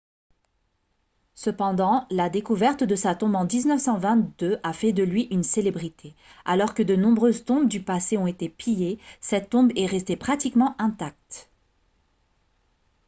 cependant la découverte de sa tombe en 1922 a fait de lui une célébrité alors que de nombreuses tombes du passé ont été pillées cette tombe est restée pratiquement intacte